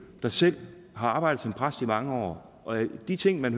der selv har arbejdet som præst i mange år og de ting man